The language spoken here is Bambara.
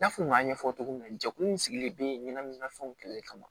N y'a fɔ n y'a ɲɛfɔ cogo min na jɛkulu in sigilen bɛ ɲɛnaminimafɛnw kɛlɛli kama